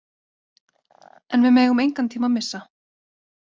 En við megum engan tíma missa.